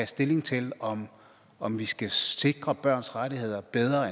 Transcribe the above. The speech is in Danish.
stilling til om om vi skal sikre børns rettigheder bedre